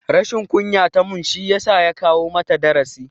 Rashin kunya tamun shiyasa ya koya mata darasi